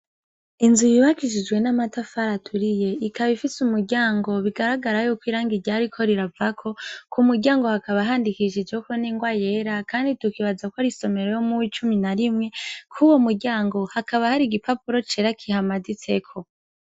Inzu yubakishijwe n'amatafari aturiye ikaba ifise umuryango bigaragara yuko irangi ryariko riravako ku muryango hakaba handikishijeko n'ingwa yera kandi tukibaza ko ari isomero yo mu w'icumi na rimwe kuwo muryango hakaba hari igipauro cera kihamaditseko.